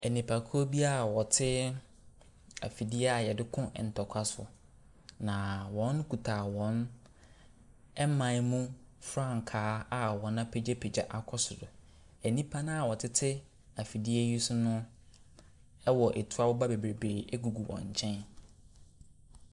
Nnipakuo bi a wɔte afidie a wɔdeko ntokwa so. Na wokita wɔn man mu frankaa a wɔapegyapegya akɔ soro. Nnipa a wɔtete afidie no so no, wɔ tuo aboba gugu wɔn nkyɛn.